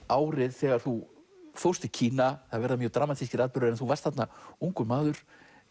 árið þegar þú fórst til Kína það verða mjög dramatískir atburðir þú varst þarna ungur maður